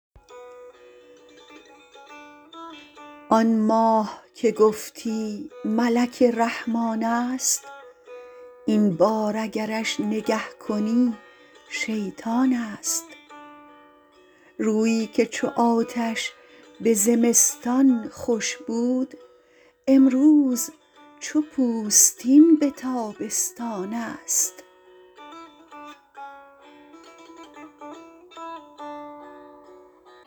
آن ماه که گفتی ملک رحمانست این بار اگرش نگه کنی شیطانست رویی که چو آتش به زمستان خوش بود امروز چو پوستین به تابستانست